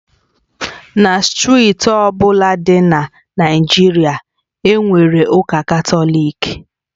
Na steeti ọ bụla dị na Naịjirịa, e nwere ụka Katọlik